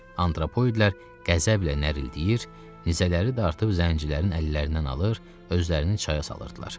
Antropoidlər qəzəblə nərildəyir, nizələri də artıq zəngilərin əllərindən alır, özlərini çaya salırdılar.